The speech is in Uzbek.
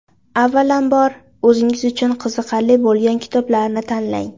Avvalambor, o‘zingiz uchun qiziqarli bo‘lgan kitoblarni tanlang.